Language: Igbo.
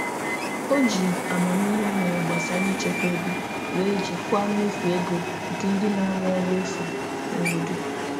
O ji amamihe o nwere gbasara ịchekwa ego wee jikwaa mmefu ego nke ndị na-arụ ọrụ efu n'obodo.